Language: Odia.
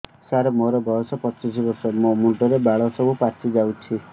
ସାର ମୋର ବୟସ ପଚିଶି ବର୍ଷ ମୋ ମୁଣ୍ଡରେ ବାଳ ସବୁ ପାଚି ଯାଉଛି